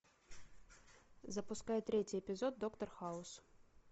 запускай третий эпизод доктор хаус